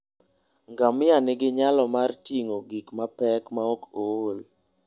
Ngamia nigi nyalo mar ting'o gik mapek maok ool.